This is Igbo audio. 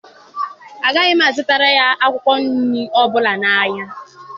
Agaghị m azụtara ya akwụkwọ nri ọbụla n'ahịa.